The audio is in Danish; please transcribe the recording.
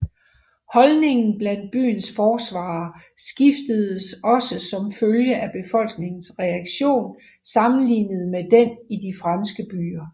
Holdningen blandt byens forsvarere skiftede også som følge af befolkningens reaktion sammenlignet med den i de franske byer